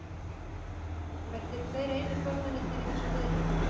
Kristján: En verðið þið tveir einir formennirnir í þessum viðræðum?